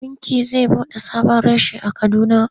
Bankin zai buɗe sabon reshe a Kaduna.